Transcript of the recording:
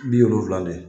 Bi wolonfila de